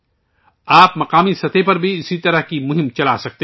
آپ مقامی سطح پر بھی اسی طرح کی مہم چلا سکتے ہیں